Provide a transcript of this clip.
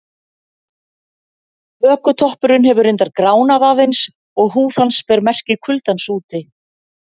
Hökutoppurinn hefur reyndar gránað aðeins og húð hans ber merki kuldans úti.